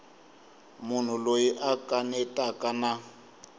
munhu loyi a kanetaka na